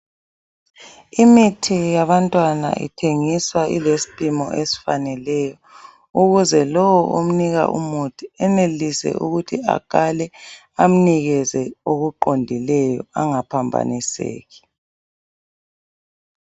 Imithi yabantwana ithengiswa ilespimo esifaneleyo. Ukuze lo omnika umuthi enelise ukuthi akale amnikeze okuqondileyo angaphambanisi.